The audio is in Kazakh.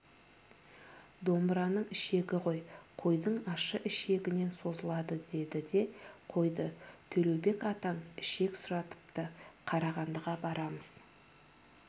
домбыраның ішегі ғой қойдың ащы ішегінен созылады деді де қойды төлеубек атаң ішек сұратыпты қарағандыға барамыз